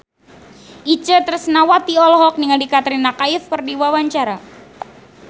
Itje Tresnawati olohok ningali Katrina Kaif keur diwawancara